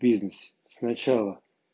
бизнес сначала